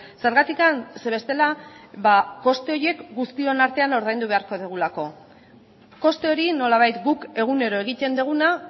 zergatik zeren bestela ba koste horiek guztion artean ordaindu beharko dugulako koste hori nolabait guk egunero egiten duguna